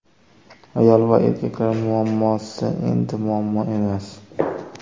Ayol va erkaklar muammosi endi muammo emas.